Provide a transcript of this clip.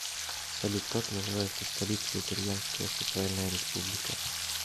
салют как называется столица итальянская социальная республика